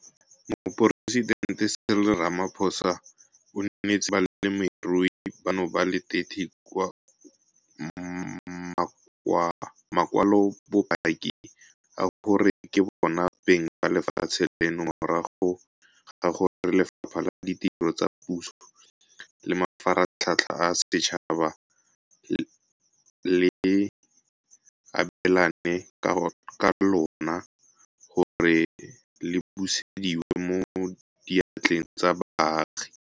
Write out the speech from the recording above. Moporesitente Cyril Ramaphosa o neetse balemirui bano ba le 30 makwalobopaki a gore ke bona beng ba lefatshe leno morago ga gore Lefapha la Ditiro tsa Puso le Mafaratlhatlha a Setšhaba le abelane ka lona gore le busediwe mo diatleng tsa baagi.